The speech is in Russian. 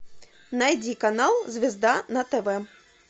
найди канал звезда на тв